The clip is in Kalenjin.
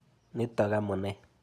Nitok amune.